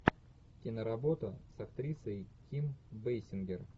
киноработа с актрисой ким бейсингер